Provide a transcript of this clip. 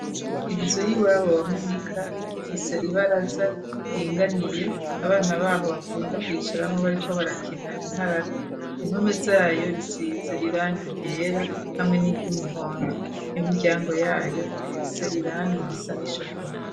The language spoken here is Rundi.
Inzu y'iwabo wa Munika ifise ibaraza iringaniye abana baho bakunda kwicaramwo bariko barakina inkarata impome zayo risize iranga iryera hamwe n'iry'umuhondo imibyango yayo ifise irangi irisa nishokora.